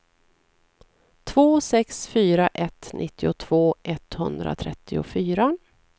två sex fyra ett nittiotvå etthundratrettiofyra